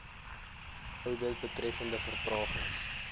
oudit betreffende vertragings